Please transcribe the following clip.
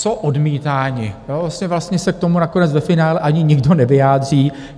Co odmítáni, vlastně se k tomu nakonec ve finále ani nikdo nevyjádří.